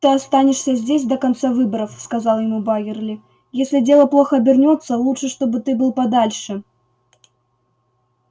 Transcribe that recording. ты останешься здесь до конца выборов сказал ему байерли если дело плохо обернётся лучше чтобы ты был подальше